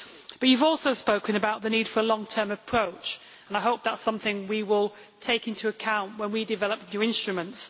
But you have also spoken about the need for a long-term approach and I hope that is something we will take into account when we develop the appropriate instruments.